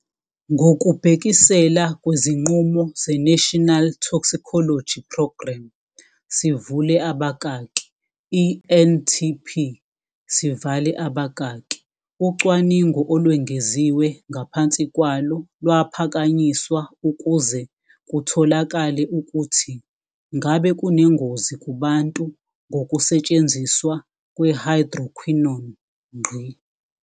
Ngokubhekisela kwezinqumo ze-National Toxicology Program, sivule abakaki i-NTP sivale babakaki, ucwaningo olwengeziwe ngaphansi kwalo lwaphakanyiswa ukuze kutholakale ukuthi ngabe kunengozi kubantu ngokusetshenziswa kwe-hydroquinone.